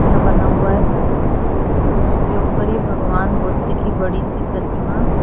घर सा बना हुआ है और उसके ऊपर भगवान बुद्ध की बड़ी सी प्रतिमा--